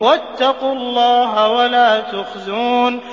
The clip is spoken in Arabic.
وَاتَّقُوا اللَّهَ وَلَا تُخْزُونِ